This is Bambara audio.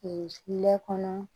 tile kɔnɔ